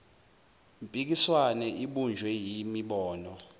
mpikiswano ibunjwe yimibono